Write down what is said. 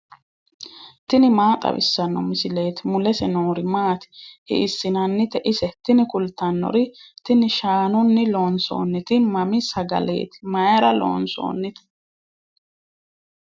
tini maa xawissanno misileeti ? mulese noori maati ? hiissinannite ise ? tini kultannori tini shaanunni loonsoonniti mammi sagaleeti mayra loonsoonnite